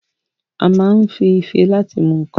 A ma ń ife láti fi mu ǹǹkan